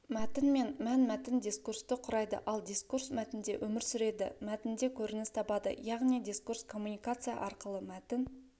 мәтін мен мән-мәтін дискурсты құрайды ал дискурс мәтінде өмір сүреді мәтінде көрініс табады яғни дискурс коммуникация арқылы мәтін